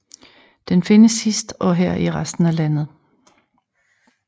Den findes hist og her i resten af landet